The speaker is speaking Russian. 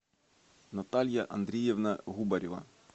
наталья андреевна губарева